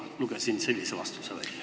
Ma lugesin sellise vastuse välja.